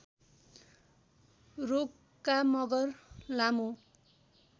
रोका मगर लामो